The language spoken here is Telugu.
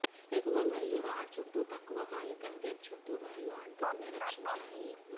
ఎగువ మరియు రాడ్ చుట్టూ తక్కువ కాగితం వెబ్ చుట్టు మరియు అంటుకునే రక్షించాయి